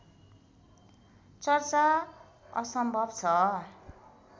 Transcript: चर्चा असम्भव छ